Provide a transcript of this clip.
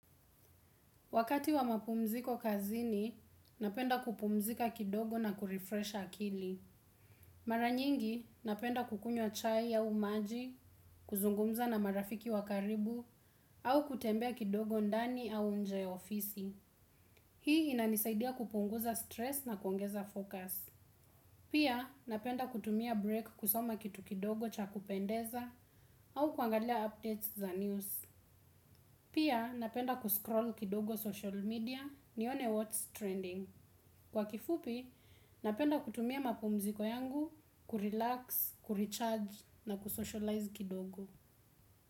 Wakati wa mapumziko kazini, napenda kupumzika kidogo na ku refresh akili. Mara nyingi, napenda kukunywa chai au maji, kuzungumza na marafiki wakaribu, au kutembea kidogo ndani au nje ofisi. Hii inanisaidia kupunguza mkazo wa mawazo na kuwa na mtazamo pia, napenda kutumia muda wa mapumziko kazini kusoma kitu kidogo cha kupendeza au kuangalia habari zinazotokea pia, napenda kuscroll kidogo social media ni one what's trending. Kwa kifupi, napenda kutumia mapumziko yangu, kupumzika, kuongeza nguvu na kutangamana kidogo.